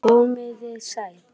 Komiði sæl!